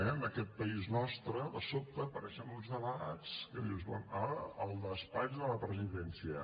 en aquest país nostre de sobte apareixen uns debats que dius bé ara el despatx de la presidència